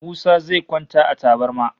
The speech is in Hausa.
Musa zai kwanta a tabarma